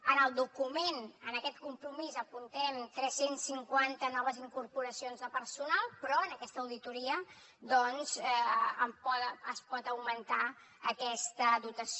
en el document en aquest compromís apuntem tres cents i cinquanta noves incorporacions de personal però amb aquesta auditoria doncs es pot augmentar aquesta dotació